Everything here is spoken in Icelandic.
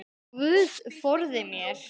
Guð forði mér.